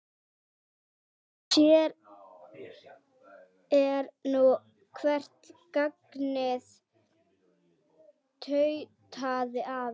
Sér er nú hvert gagnið tautaði afi.